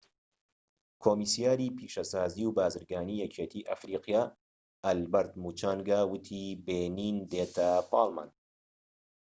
کۆمیسیاری پیشەسازی و بازرگانیی یەکێتی ئەفریقا ئالبەرت موچانگا وتی بێنین دێتە پاڵمان